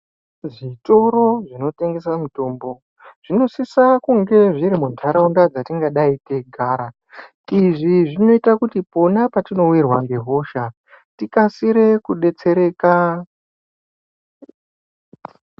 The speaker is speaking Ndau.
Zvitoro zvinotengese mitombo zvinosise kunge zviri muntaraunda dzetingadai teigara. Izvi zvinoita kuti pona petinowirwa ngehosha tikasire kudetsereka.